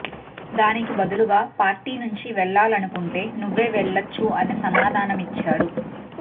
దానికి బదులుగా పార్టీ నుంచి వెళ్ళాలనుకుంటే నువ్వే వెళ్ళొచ్చు అని సమాధానమిచ్చారు